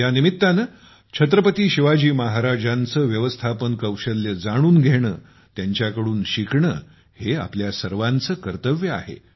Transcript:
या निमित्ताने छत्रपती शिवाजी महाराजांचे व्यवस्थापन कौशल्य जाणून घेणे त्यांच्याकडून शिकणे हे आपल्या सर्वांचे कर्तव्य आहे